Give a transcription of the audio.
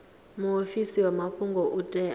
muofisi wa mafhungo u tea